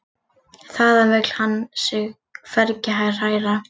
Þaðan vill hann sig hvergi hræra.